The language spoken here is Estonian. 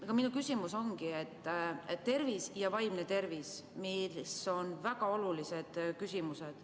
Aga minu küsimus ongi tervis ja vaimne tervis, mis on väga olulised küsimused.